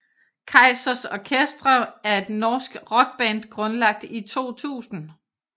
Kaizers Orchestra er et norsk rockband grundlagt i 2000